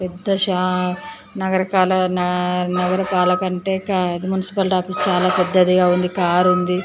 పెద్దా నగరపాలక నగరపాలక అంటే మున్సిపల్ ఆఫీసు చాలా పెద్దదిగా ఉంది.